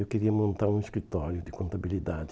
Eu queria montar um escritório de contabilidade.